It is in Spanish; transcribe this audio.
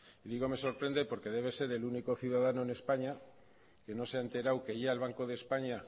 y digo me sorprende porque debe ser el único ciudadano en españa que no se ha enterado que ya el banco de españa